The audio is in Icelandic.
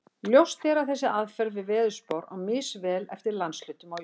Ljóst er að þessi aðferð við veðurspár á misvel við eftir landshlutum á Íslandi.